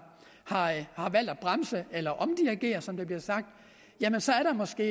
valgt at bremse eller omdirigere som der bliver sagt jamen så er der måske